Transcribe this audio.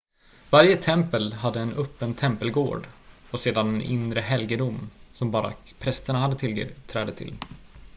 varje tempel hade en öppen tempelgård och sedan en inre helgedom som bara prästerna hade tillträde till